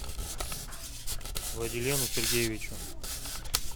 владилену сергеевичу